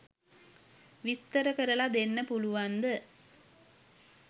විස්තර කරලා දෙන්න පුලුවන්ද?